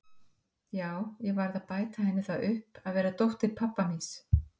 Já, ég varð að bæta henni það upp að vera dóttir pabba míns.